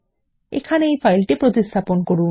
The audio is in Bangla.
এখানে ফাইলটি প্রতিস্থাপন করুন